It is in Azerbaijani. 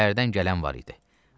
Şəhərdən gələn var idi.